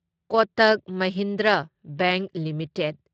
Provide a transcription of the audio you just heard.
Kotak Mahindra bank limited